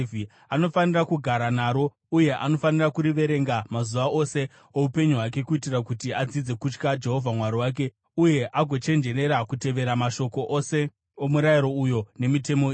Anofanira kugara naro uye anofanira kuriverenga mazuva ose oupenyu hwake kuitira kuti adzidze kutya Jehovha Mwari wake uye agochenjerera kutevera mashoko ose omurayiro uyu nemitemo iyi.